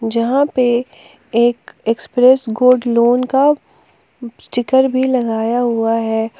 जहां पे एक एक्सप्रेस गोल्ड लोन का स्टीकर भी लगाया हुआ है।